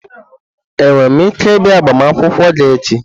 Enwere m ike ịbịa agbamakwụkwọ gị echi?